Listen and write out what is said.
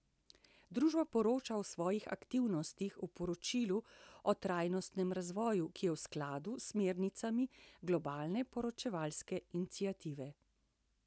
Družba poroča o svojih aktivnostih v poročilu o trajnostnem razvoju, ki je v skladu s smernicami Globalne poročevalske iniciative.